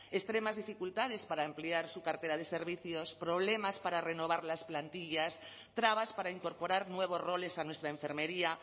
extremas dificultades para ampliar su cartera de servicios problemas para renovar las plantillas trabas para incorporar nuevos roles a nuestra enfermería